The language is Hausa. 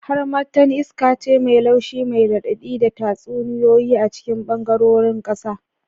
Harmattan iska ce mai laushi mai raɗaɗi da tatsuniyoyi a cikin ɓangarorin ƙasa.